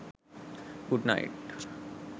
good night